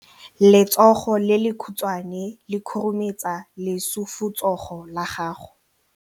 Letsogo le lekhutshwane le khurumetsa lesufutsogo la gago.